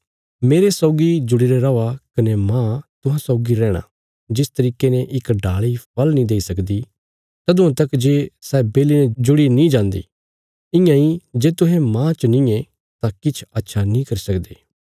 मेरे सौगी जुड़ीरे रौआ कने मांह तुहां सौगी रैहणा जिस तरीके ने इक डाल़ी फल़ नीं देई सकदी तदुआं तक जे सै बेली ने जुड़ी नीं जान्दी इयां इ जे तुहें मांह च नींये तां किछ अच्छा नीं करी सकदे